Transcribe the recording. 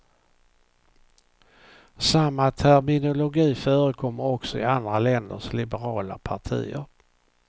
Samma terminologi förekommer också i andra länders liberala partier.